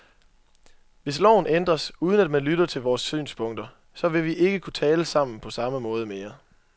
Hvis loven ændres, uden at man lytter til vores synspunkter, så vil vi ikke kunne tale sammen på samme måde mere.